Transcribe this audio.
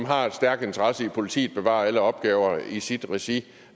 har en stærk interesse i at politiet bevarer alle opgaver i sit regi